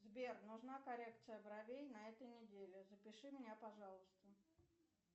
сбер нужна коррекция бровей на этой неделе запиши меня пожалуйста